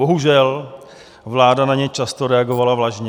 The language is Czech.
Bohužel vláda na ně často reagovala vlažně.